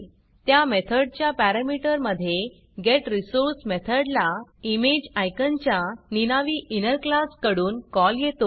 त्या मेथडच्या पॅरामीटरमधे getResource मेथडला इमेजिकॉन च्या निनावी इनर क्लास कडून कॉल येतो